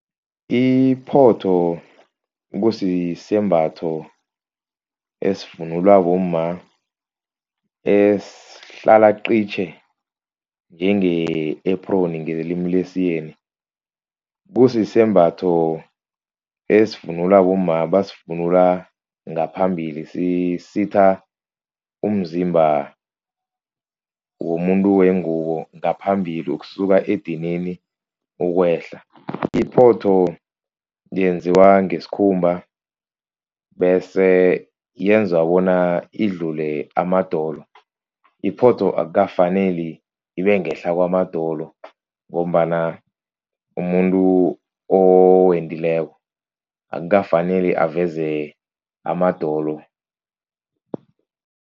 Iphotho kusisembatho esivunulwa bomma esihlala qitjhe njenge-apron ngelimi lesiyeni. Kusisembatho esivunulwa bomma basivunula ngaphambili, sisitha umzimba womuntu wengubo ngaphambili ukusuka edinini ukwehla. Iphotho yenziwa ngesikhumba bese yenza bona idlule amadolo, iphotho akukafaneli ibe ngehla kwamadolo, ngombana umuntu owendileko akukafaneli aveze amadolo.